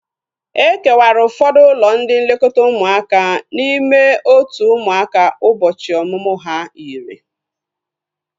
E kewara ụfọdụ ụlọ ndị nlekọta ụmụaka n'ime otu ụmụaka ụbọchị ọmụmụ ha yiri